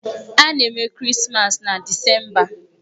A na-eme Krismas na Disemba.